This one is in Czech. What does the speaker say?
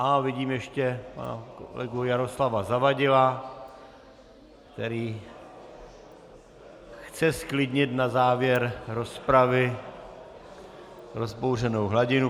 Á, vidím ještě pana kolegu Jaroslava Zavadila, který chce zklidnit na závěr rozpravy rozbouřenou hladinu.